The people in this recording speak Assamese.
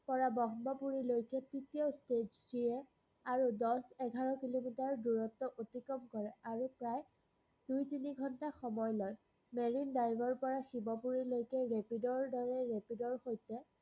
পৰা ব্ৰক্ষ্মপুৰীলৈকে তৃতীয় stage three আৰু দশ-এঘাৰ কিলোমিটাৰ দূৰত্ব অতিক্ৰম কৰে, আৰু প্ৰায় দুই-তিনি ঘন্টা সময় লয়। marine drive ৰপৰা শিৱপুৰীলৈকে rapid ৰদৰে rapid ৰসৈতে